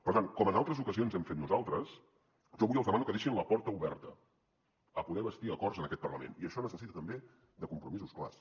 per tant com en altres ocasions hem fet nosaltres jo avui els demano que deixin la porta oberta a poder bastir acords en aquest parlament i això necessita també compromisos clars